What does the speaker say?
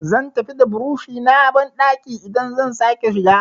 Zan tafi da burushi na banɗaki idan zan sake shiga.